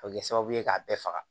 A bɛ kɛ sababu ye k'a bɛɛ faga